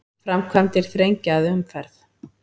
Framkvæmdir þrengja að umferð